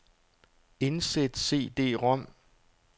Indsæt cd-rom.